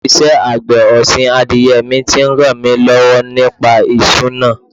Ìṣe àgbẹ̀ ọ̀sìn adìyẹ mi ti ń ràn mí lọ́wọ́ nípa ìṣúná.